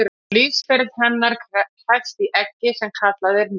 lífsferill hennar hefst í eggi sem kallað er nit